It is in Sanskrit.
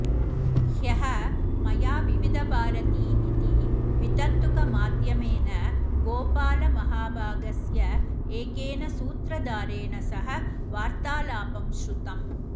ह्यः मया विविधभारती इति वितन्तुकमाध्यमेन गोपालमहाभागस्य एकेन सूत्रधारेण सह वार्तालापं श्रुतम्